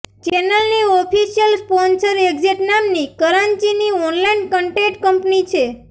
ચેનલની official sponsor Exact નામની કરાંચીની ઓનલાઇન કંટેટ કંપની છે